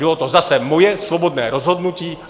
Bylo to zase moje svobodné rozhodnutí.